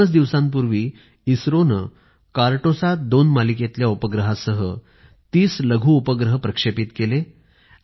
दोनच दिवसांपूर्वी इसरोने कार्टोसात२ मालिकेतल्या उपग्रहासह ३० लघु उपग्रह प्रक्षेपित केले